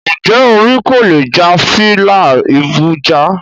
Njẹ́ orí kò lè jà fí n lá ibu jà?